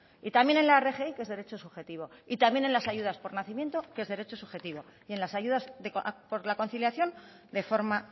y también en la rgi que es derecho subjetivo y también en las ayudas por nacimiento que es derecho subjetivo y en las ayudas por la conciliación de forma